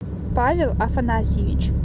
павел афанасьевич